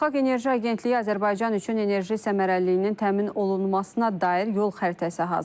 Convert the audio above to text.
Beynəlxalq Enerji Agentliyi Azərbaycan üçün enerji səmərəliliyinin təmin olunmasına dair yol xəritəsi hazırlayıb.